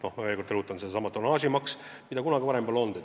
Ma veel kord rõhutan sedasama tonnaažitasu, mida kunagi varem pole olnud.